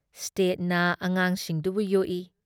ꯁ꯭ꯇꯦꯠꯅ ꯑꯉꯥꯡꯁꯤꯡꯗꯨꯕꯨ ꯌꯣꯛꯏ ꯫